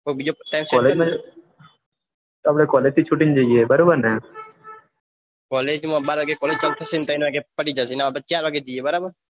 બીજા કોલેજ માં કોલેજ થી છૂટી ને જઈએ બરાબરને કોલેજ બાર વાગે સારું થશે ને ત્રણ વાગે પટી આપડે ચાર વાગે જઈએ